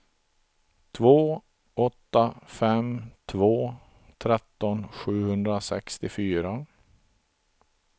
två åtta fem två tretton sjuhundrasextiofyra